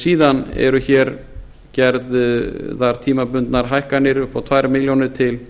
síðan eru gerðar tímabundnar hækkanir upp á tveimur milljónum til